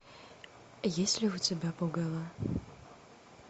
есть ли у тебя пугало